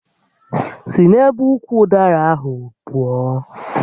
Si n'ebe ukwu ụdara ahụ pụọ!